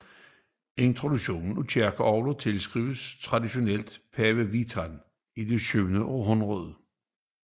Introduktionen af kirkeorgler tilskrives traditionelt Pave Vitalian i det syvende århundrede